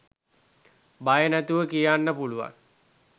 බය නැතිව කියන්න පුළුවන්.